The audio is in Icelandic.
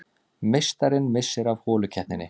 Meistarinn missir af holukeppninni